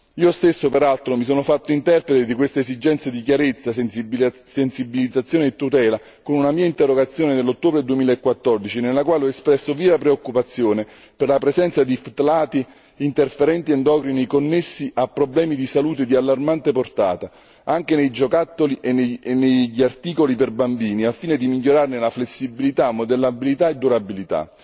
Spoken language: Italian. Io stesso, peraltro, mi sono fatto interprete di queste esigenze di chiarezza, sensibilizzazione e tutela con una mia interrogazione nell'ottobre 2014, nella quale ho espresso viva preoccupazione per la presenza di ftalati interferenti endocrini connessi a problemi di salute di allarmante portata, anche nei giocattoli e negli articoli per bambini, al fine di migliorarne la flessibilità, modellabilità e durabilità.